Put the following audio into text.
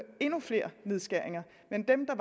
endnu flere nedskæringer men dem der